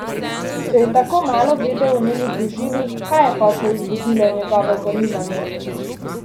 Če je tako malo vedel o njeni družini, kaj je potlej vzbudilo njegovo zanimanje?